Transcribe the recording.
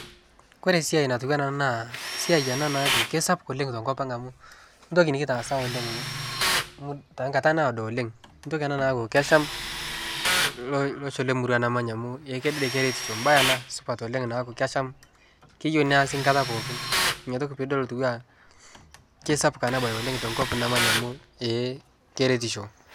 Ore esiai natiu enaa ena naa esiai naaku kesapuk oleng' tenkopang amu entoki nitaasa oleng',tengata naado oleng' entoki ena naaku kesham losho lemurua namanya amu kedede keretisho bae ena supat oleng', neeku kasham keyieu neesi nkata pookin inatoki tooshi piidol kesapuk tenkopang' namanya amu ee keretisho.